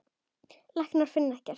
Læknar finna ekkert.